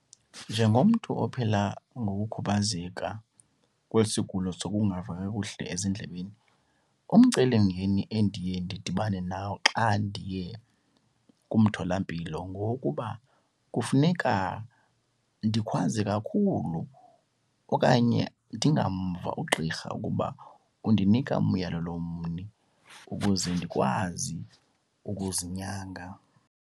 Njengomntu ophila ngokukhubazeka kwesi sigulo sokukungava kakuhle ezindlebeni, umcelimngeni endiye ndidibane nawo xa ndiye kumtholampilo ngokuba kufuneka ndikhwaze kakhulu okanye ndingamva ugqirha ukuba undinika umyalelo mni ukuze ndikwazi ukuzinyanga.